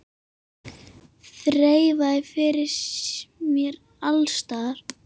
Þreifað fyrir mér alls staðar.